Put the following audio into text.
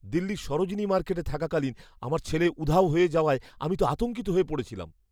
দিল্লির সরোজিনী মার্কেটে থাকাকালীন আমার ছেলে উধাও হয়ে যাওয়ায় আমি তো আতঙ্কিত হয়ে পড়েছিলাম।